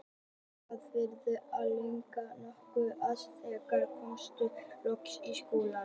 Við vorum orðnir rennblautir og nokkuð lerkaðir þegar við komumst loks í skólann.